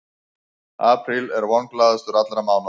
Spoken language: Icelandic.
Apríl er vonglaðastur allra mánaða.